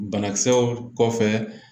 Banakisɛw kɔfɛ